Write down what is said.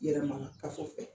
Yɛrɛmala kaso